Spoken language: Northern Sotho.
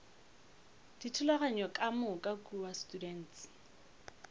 dithulaganyo ka moka kua students